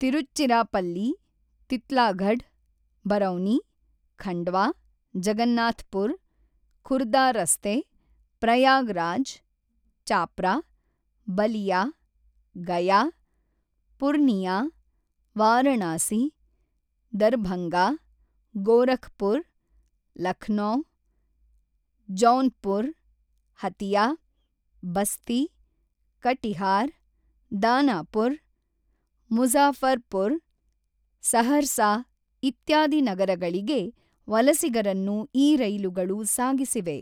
Tiruchirappalli, Titlagarh, Barauni, Khandwa, Jagannathpur, Khurda ರಸ್ತೆ, Prayagraj, Chhapra, Ballia, Gaya, Purnia, Varanasi, Darbhanga, Gorakhpur, Lucknow, Jaunpur, Hatia, Basti, Katihar, Danapur, Muzaffarpur, Saharsa ಇತ್ಯಾದಿ ನಗರಗಳಿಗೆ ವಲಸಿಗರನ್ನು ಈ ರೈಲುಗಳು ಸಾಗಿಸಿವೆ